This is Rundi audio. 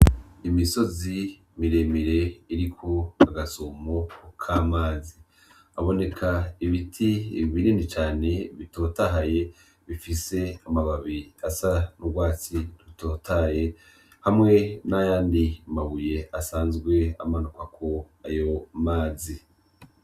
Imisozi miremire iriko agasumo k'amazi, haboneka ibiti binini cane bitotahaye bifise amababi asa n'ugwatsi rutotahaye, hamwe n'ayandi mabuye asazwe amanukwako ayo mazi.